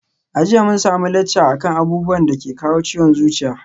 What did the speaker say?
A jiya mun samu lacca akan abubuwan dake kawo ciwon zuciya